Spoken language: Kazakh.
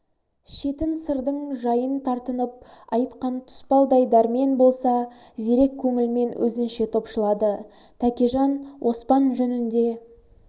шетін сырдың жайын тартынып айтқан тұспалдай дәрмен болса зерек көңілмен өзінше топшылады тәкежан оспан жөнінде